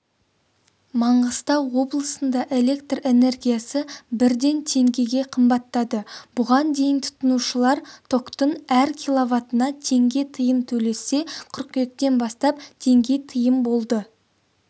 маңғыстау облысында электр энергиясы бірден теңгеге қымбаттады бұған дейін тұтынушылар токтың әр киловатына теңге тиын төлесе қыркүйектен бастап теңге тиын болды